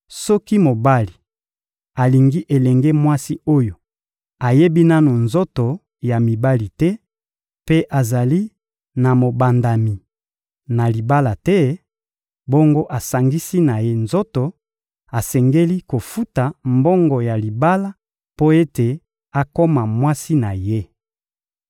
Soki mobali alingi elenge mwasi oyo ayebi nanu nzoto ya mibali te mpe azali na mobandami na libala te, bongo asangisi na ye nzoto, asengeli kofuta mbongo ya libala mpo ete akoma mwasi na ye.